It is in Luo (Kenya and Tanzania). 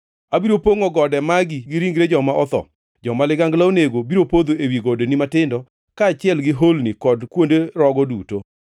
Abiro pongʼo gode magi gi ringre joma otho, joma ligangla onego biro podho ewi godeni matindo, kaachiel gi holni kod kuonde rogo duto.